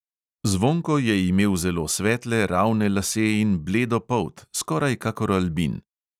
Zvonko je imel zelo svetle ravne lase in bledo polt, skoraj kakor albin.